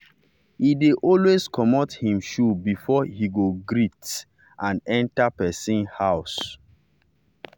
he dey always comot him shoe before he go greet and go greet and enter person house.